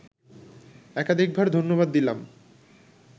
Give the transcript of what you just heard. একাধিকবার ধন্যবাদ দিলাম